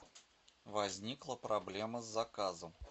возникла проблема с заказом